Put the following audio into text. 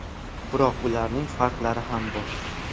Biroq ularning farqlari ham bor.